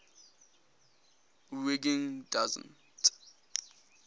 wiggin doesn t